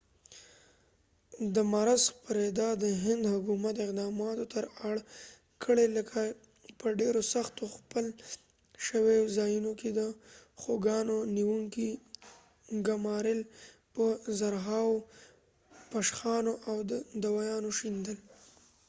د مرض خپریدا د هند حکومت اقداماتو ته اړ کړی لکه په ډیرو سختو ځپل شویو ځایونو کې د خوګانو نیونکي ګمارل په زرهاوو پشخانو او د دوایانو شیندل